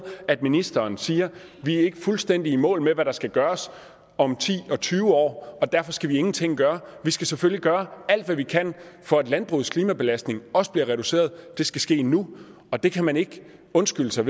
at ministeren siger vi er ikke fuldstændig i mål med hvad der skal gøres om ti og tyve år og derfor skal vi ingenting gøre vi skal selvfølgelig gøre alt hvad vi kan for at landbrugets klimabelastning også bliver reduceret det skal ske nu og det kan man ikke undskylde sig